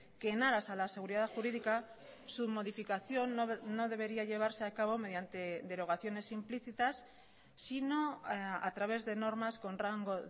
que en aras a la seguridad jurídica su modificación no debería llevarse a cabo mediante derogaciones implícitas sino a través de normas con rango